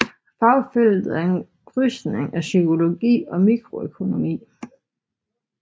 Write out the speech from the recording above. Fagfeltet er en krydsning af psykologi og mikroøkonomi